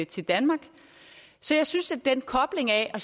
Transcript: til danmark så jeg synes at den kobling af at